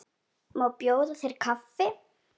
Má bjóða þér kaffi?